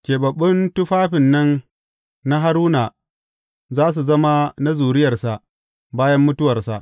Keɓaɓɓun tufafin nan na Haruna za su zama na zuriyarsa bayan mutuwarsa.